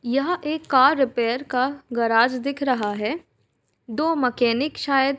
यहाँ एक car repair का गराज दिख रहा है। दो मैकेनिक शायद --